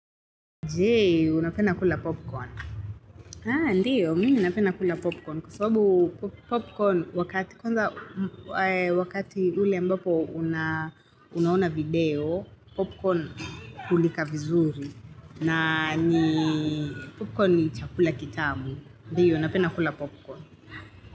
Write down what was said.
Je, unapenda kula popcorn ndiyo, mimi napenda kula popcorn kwa sababu popcorn, wakati, kwaza, wakati ule ambapo unaona video Popcorn hulika vizuri na ni popcorn ni chakula kitamu ndio, napenda kula popcorn.